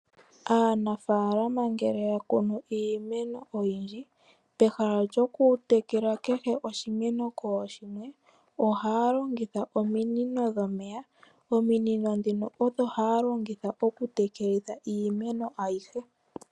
Aanafaalama ngele ya kunu iimeno oyindji, pehala lyo ku tekela kehe oshimeno kooshimwe ,ohaa longitha ominino dhomeya . Ominino dhino odho haa longitha oku tekelitha iimeno ayihe.